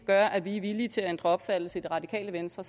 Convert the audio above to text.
gør at vi er villige til at ændre opfattelse i det radikale venstre